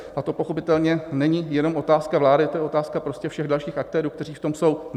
A to pochopitelně není jenom otázka vlády, to je otázka prostě všech dalších aktérů, kteří v tom jsou.